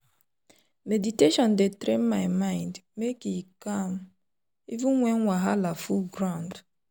meditation dey train my mind make e calm even when wahala full ground.